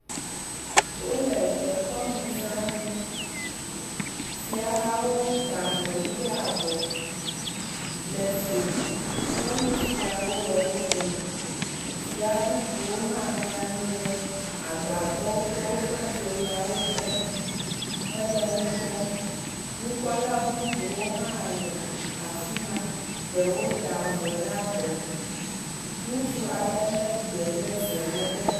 Wole dekɔnuzã ɖum. Fiahawo da avɔ ʋi ɖe abɔ le fli me. Nyɔnu fiawo le wo dome. Fia bubuwo hã nɔ anyi ɖe agbadɔwo kple woƒe dzoyawo te hele nu kpɔm. nukpɔla bubuwo hã le afi ma. Ɖewo da avɔ ɖe abɔ. Ŋutsu aɖe lé gbe ɖe ze me lé ɖe ta.